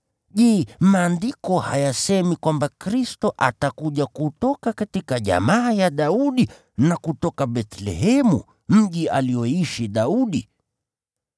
Je, Maandiko hayasemi kwamba Kristo atakuja kutoka jamaa ya Daudi na kutoka Bethlehemu, mji alioishi Daudi?”